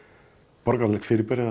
borgaralegt fyrirbæri þar sem